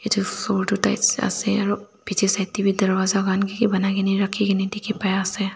etu photo types ase aro picche side teh bhi darwaja khan kiki banai ke ni rakhi ke ni dikhi pai ase.